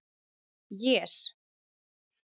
Jes